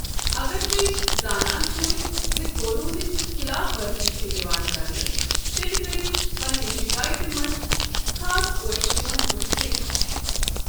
اگر تُہۍ زانان چھِو زِ قوٗنوٗنٕچ خِلاف ورزی چھےٚ یِوان کرنہٕ، تیٚلہِ کٔرِو پنِنہِ شکایتہِ منٛز خاص پٲٹھۍ تِمن ہُنٛد ذِکرِ۔